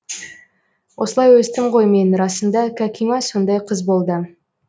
осылай өстім ғой мен расында кәкима сондай қыз болды